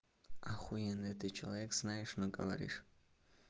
ахуенная ты человек знаешь но говоришь